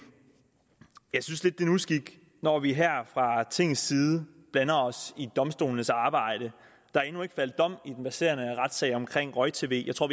usik når vi her fra tingets side blander os i domstolenes arbejde der er endnu ikke faldet dom i den verserende retssag om roj tv jeg tror